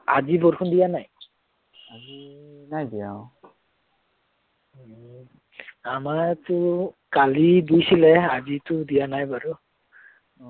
আমাৰটো কালি দিছিলে আজিটো দিয়া নাই বাৰু।